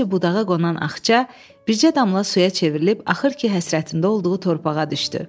Əvvəlcə budağa qonan Axça, bircə damla suya çevrilib, axır ki, həsrətində olduğu torpağa düşdü.